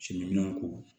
Siminɛnw ko